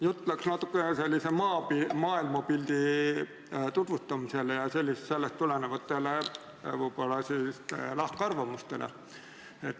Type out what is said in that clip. Jutt läks natuke sellisele maailmapildi tutvustamisele ja sellest tulenevatele võib-olla lahkarvamustele.